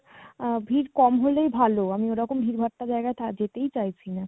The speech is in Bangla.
আ~ ভিড় কম হলেই ভালো আমি ওরকম ভিড় ভাট্টা জায়গায় থা~ যেতেই চাইছি না